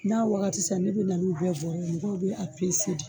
N'a wagati sera ne bɛ na n'u bɛɛ bɔrɔ ye mɔgɔ bɛ a pese de.